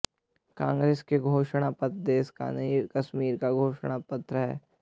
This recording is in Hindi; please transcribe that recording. कांग्रेस का घोषणा पत्र देश का नहीं कश्मीर का घोषणा पत्र है